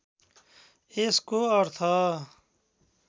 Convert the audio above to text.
यसको अर्थ